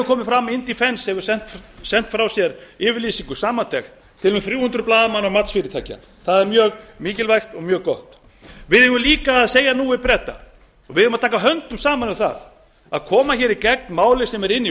komið hefur fram að indefence hefur sent frá sér yfirlýsingu samantekt til um þrjú hundruð blaðamanna matsfyrirtækja það er mjög mikilvægt og mjög gott við eigum líka að segja nú við breta og við eigum að taka höndum saman um að koma í gegn máli sem er í